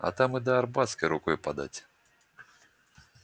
а там и до арбатской рукой подать